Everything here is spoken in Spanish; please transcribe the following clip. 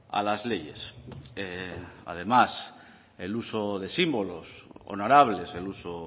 a las leyes además el uso de símbolos honorables el uso